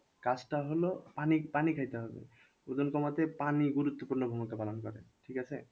কাজটা হলো পানি পানি খাইতে হবে ওজন কমাতে পানি গুরুত্বপূর্ণ ভূমিকা পালন করে ঠিক আছে?